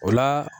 O la